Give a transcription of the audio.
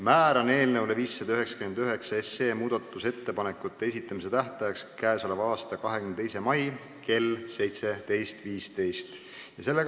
Määran eelnõu 599 muudatusettepanekute esitamise tähtajaks k.a 22. mai kell 17.15.